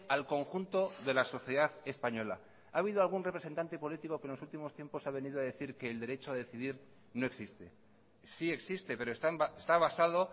al conjunto de la sociedad española ha habido algún representante político que en los últimos tiempos ha venido a decir que el derecho a decidir no existe sí existe pero está basado